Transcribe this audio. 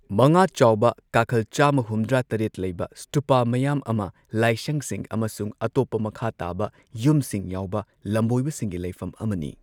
ꯃꯉꯥ ꯆꯥꯎꯕ ꯀꯥꯈꯜ ꯆꯥꯝꯃ ꯍꯨꯝꯗ꯭ꯔꯥ ꯇꯔꯦꯠ ꯂꯩꯕ, ꯁ꯭ꯇꯨꯄꯥ ꯃꯌꯥꯝ ꯑꯃ, ꯂꯥꯢꯁꯪꯁꯤꯡ ꯑꯃꯁꯨꯡ ꯑꯇꯣꯞꯄ ꯃꯈꯥ ꯇꯥꯕ ꯌꯨꯝꯁꯤꯡ ꯌꯥꯎꯕ ꯂꯝꯕꯣꯏꯕꯁꯤꯡꯒꯤ ꯂꯩꯐꯝ ꯑꯃꯅꯤ꯫